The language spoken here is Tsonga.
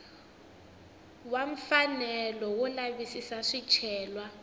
wa mfanelo wo lavisisa swicelwa